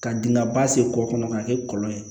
Ka dingɛba sen kɔkɔ kɔnɔ k'a kɛ kɔlɔn ye